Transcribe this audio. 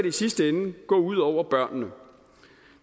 i sidste ende gå ud over børnene